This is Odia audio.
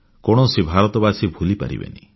କୌଣସି ଭାରତବାସୀ ଭୁଲି ପାରିବେନି